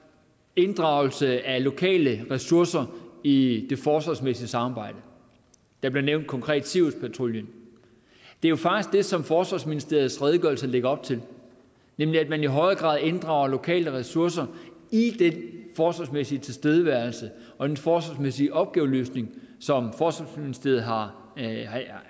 inddragelse af lokale ressourcer i det forsvarsmæssige samarbejde der blev konkret nævnt siriuspatruljen det er jo faktisk det som forsvarsministeriets redegørelse lægger op til nemlig at man i højere grad inddrager lokale ressourcer i den forsvarsmæssige tilstedeværelse og den forsvarsmæssige opgaveløsning som forsvarsministeriet har